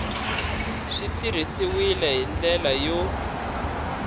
swi tirhisiwile hi ndlela yo